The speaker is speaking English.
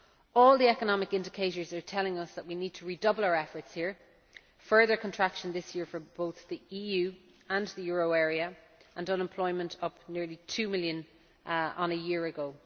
All the economic indicators are telling us that we need to redouble our efforts here further contraction this year for both the EU and the euro area, and unemployment up nearly two million on a year ago.